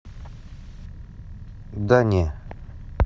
да не